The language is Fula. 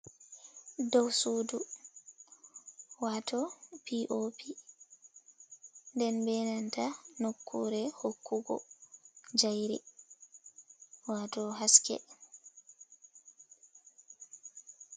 Dow suudu wato pop, nden be nanta nokkure hokkugo jayri wato haske.